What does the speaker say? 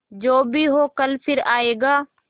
जो भी हो कल फिर आएगा